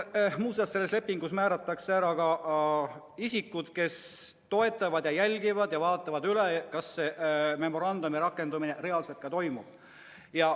Muuseas, selles lepingus määratakse ära ka isikud, kes jälgivad, kas see memorandum ka reaalselt rakendub.